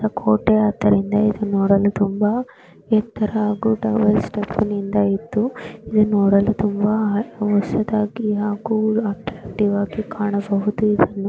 ಕೋಟೆ ಆದ್ದರಿಂದ ನೋಡಲು ಎತ್ತರ ತುಂಬಾ ಸುಂದರ ಇದು ನೋಡಲು ತುಂಬಾ ಅಥೆಂಟಿವ್ ಹೊಸದಾಗಿ ಕಾಣಬಹುದು.